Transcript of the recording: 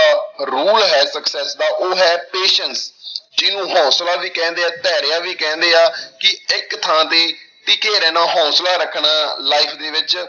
Rule ਹੈ success ਦਾ ਉਹ ਹੈ patience ਜਿਹਨੂੰ ਹੌਂਸਲਾ ਵੀ ਕਹਿੰਦੇ ਹਾਂ, ਧੈਰਯ ਵੀ ਕਹਿੰਦੇ ਆ, ਕਿ ਇੱਕ ਥਾਂ ਤੇ ਟਿੱਕੇ ਰਹਿਣਾ ਹੌਂਸਲਾ ਰੱਖਣਾ life ਦੇ ਵਿੱਚ।